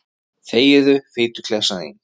Þegiðu, fituklessan þín.